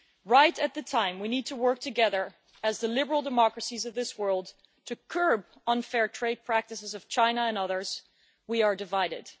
Right at the time we need to work together as the liberal democracies of this world to curb unfair trade practices of China and others, we are divided.